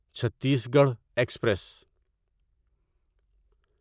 Chhattisgarh express